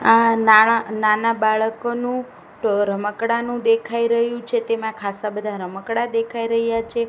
આ નાના નાના બાળકોનું રમકડા નું દેખાઈ રહ્યું છે તેમાં ખાસ આ બધા રમકડા દેખાઈ રહ્યા છે.